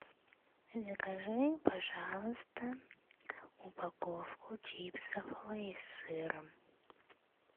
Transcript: закажи пожалуйста упаковку чипсов лейс с сыром